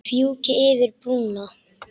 Fjúki yfir brúna.